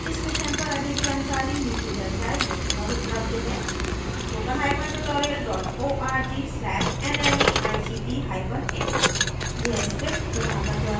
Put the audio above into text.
इस mission पर अधिक जानकारी नीचे दर्शाये link पर उपलब्ध है